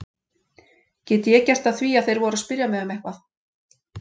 Get ég gert að því að þeir voru að spyrja mig um eitthvað?